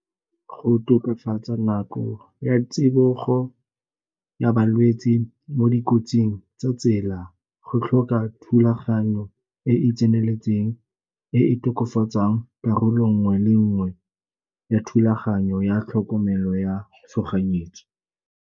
Go tokafatsa nako ya tsibogo ya balwetsi mo dikotsing tsa tsela go tlhoka thulaganyo e e tseneletseng, e e tokafatsang karolo nngwe le nngwe ya thulaganyo ya tlhokomelo ya tshoganyetso.